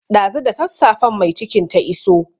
Ɗazu da sassafen mai cikin ta iso.